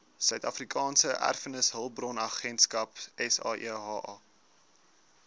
suidafrikaanse erfenishulpbronagentskap saeha